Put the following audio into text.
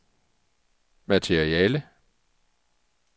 materiale